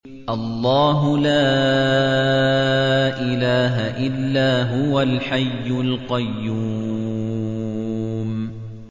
اللَّهُ لَا إِلَٰهَ إِلَّا هُوَ الْحَيُّ الْقَيُّومُ